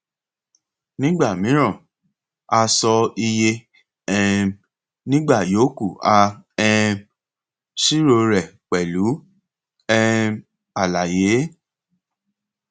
nígbà míràn a sọ iye um nígbà yòókù a um ṣírò rẹ pẹlú um àlàyé